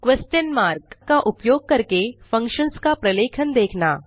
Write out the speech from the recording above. question mark का उपयोग करके फंक्शन्स का प्रलेखन देखना